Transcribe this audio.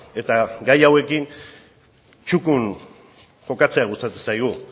eta gai hauekin txukun jokatzea gustatzen zaigu